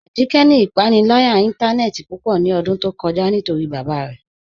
Ajíkẹ́ ni ipànílàyà ìntànẹ̀ẹ̀tì púpọ̀ ní ọ̀dún tó kọ̀já̀ nítorí bábá rẹ̀